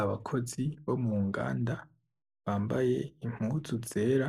Abakozi bo munganda bambaye impuzu zera